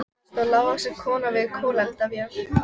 Þar stóð lágvaxin kona við kolaeldavél.